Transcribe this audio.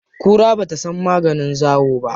Kura ba ta san maganin zawo ba.